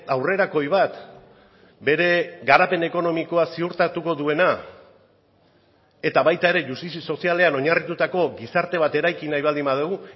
aurrerakoi bat bere garapen ekonomikoa ziurtatuko duena eta baita ere justizia sozialean oinarritutako gizarte bat eraiki nahi baldin badugu